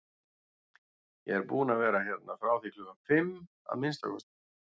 Ég er búinn að vera hérna frá því klukkan fimm, að minnsta kosti